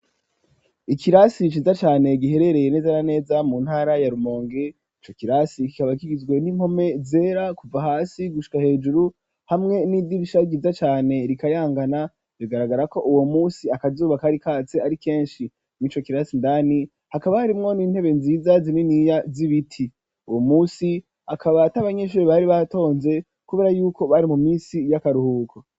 Ikirasi ciza cane giherereye neza na neza mu ntara ya Rumonge ico kirasi kikaba kigizwe n'impome zera kuva hasi gushika hejuru hamwe n'idibisha ryiza cane rikayangana bigaragara ko uwo munsi akazuba kari katse ari keshi mwico kirasi ndani hakaba harimwo n'intebe nziza zininiya z'ibiti uwo munsi akaba atabanyeshure bari batonze kubera yuko bari mu misi y'akaruhuko.